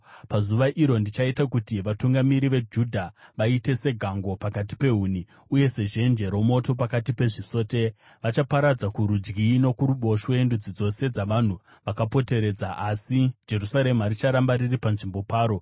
“Pazuva iro ndichaita kuti vatungamiri veJudha vaite segango pakati pehuni, uye sezhenje romoto pakati pezvisote. Vachaparadza kurudyi nokuruboshwe ndudzi dzose dzavanhu vakapoteredza, asi Jerusarema richaramba riri panzvimbo paro.